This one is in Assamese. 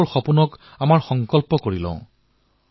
তেওঁলোকৰ সপোন বাস্তৱায়িত হওক